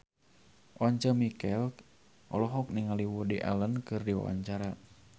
Once Mekel olohok ningali Woody Allen keur diwawancara